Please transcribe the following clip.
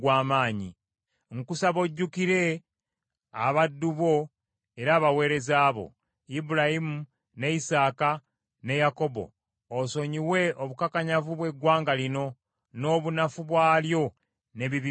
Nkusaba ojjukire abaddu bo, era abaweereza bo, Ibulayimu, ne Isaaka, ne Yakobo osonyiwe obukakanyavu bw’eggwanga lino, n’obunafu bwalyo n’ebibi byalyo.